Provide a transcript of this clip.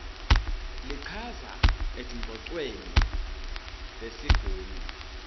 lichaza etingcocweni tesigungu